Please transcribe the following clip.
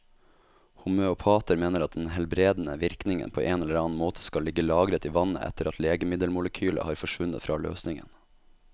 Homøopater mener at den helbredende virkningen på en eller annen måte skal ligge lagret i vannet etter at legemiddelmolekylet har forsvunnet fra løsningen.